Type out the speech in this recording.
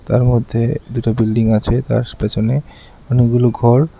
তার মধ্যে দুটো বিল্ডিং আছে তার পেছনে অনেকগুলো ঘর।